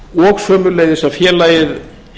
og sömuleiðis að félagið